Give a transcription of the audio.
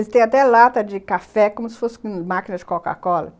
Eles têm até lata de café, como se fosse uma máquina de Coca-Cola.